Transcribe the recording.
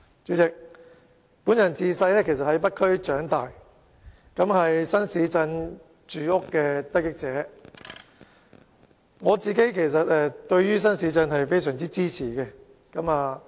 主席，本人其實自小在北區長大，是新市鎮房屋的得益者，所以對於發展新市鎮是非常支持的。